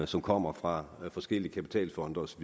som kommer fra forskellige kapitalfonde osv